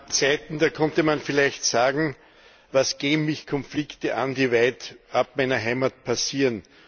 Es gab Zeiten, da konnte man vielleicht sagen, was gehen mich Konflikte an, die weitab meiner Heimat passieren?